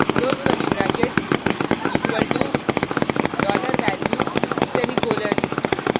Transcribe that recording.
close curly bracket equal to $value semicolon